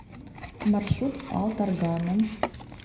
маршрут алтаргана